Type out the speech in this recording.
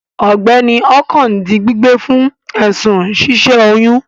Alàgbà Okon di gbígbé fún èsùn si sẹ oyún